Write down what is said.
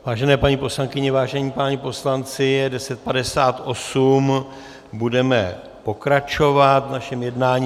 Vážené paní poslankyně, vážení páni poslanci, je 10.58, budeme pokračovat v našem jednání.